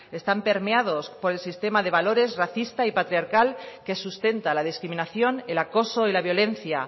están permeados por el sistema de valores racista y patriarcal que sustenta la discriminación el acoso y la violencia